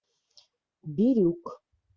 бирюк